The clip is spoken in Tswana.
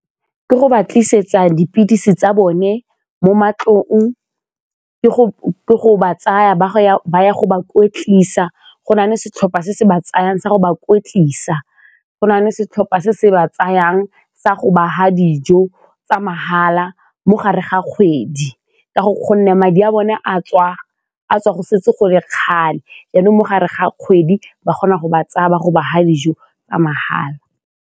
Ke go ba tlisetsa dipilisi tsa bone mo matlong, ke go ba tsaya ba ya go ba go nale setlhopha se se ba tsayang sa go ba kweetlisa, go na le setlhopha se se ba tsayang sa go ba fa dijo tsa mahala mo gare ga kgwedi ka gonne madi a bone a tswa go setse go le kgale jaanong mo gare ga kgwedi ba kgona go ba tsaya ba go ba fa dijo tsa mahala.